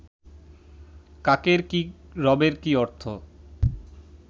কাকের কি রবের কি অর্থ